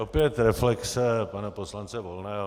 Opět reflexe pana poslance Volného.